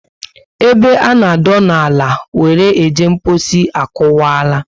Ebe a nọ adona ala were eje mposi akuwara